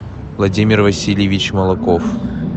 владимир васильевич молоков